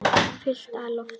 Fullt af lofti.